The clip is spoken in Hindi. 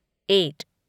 एट